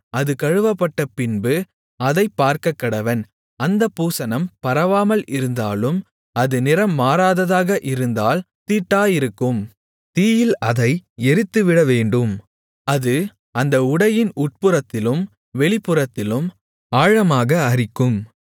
அது கழுவப்பட்டபின்பு அதைப் பார்க்கக்கடவன் அந்தப் பூசணம் பரவாமல் இருந்தாலும் அது நிறம் மாறாததாக இருந்தால் தீட்டாயிருக்கும் தீயில் அதை எரித்துவிடவேண்டும் அது அந்த உடையின் உட்புறத்திலும் வெளிப்புறத்திலும் ஆழமாக அரிக்கும்